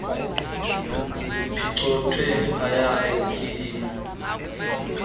ziphicothwe phaya ezithilini